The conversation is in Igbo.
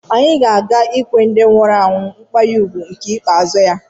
Anyị na a ga-akwụ ndị nwụrụ anwụ nkwanye ùgwù ikpeazụ ya.